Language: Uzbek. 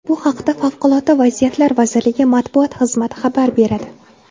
Bu haqda Favqulodda vaziyatlar vazirligi matbuot xizmati xabar beradi .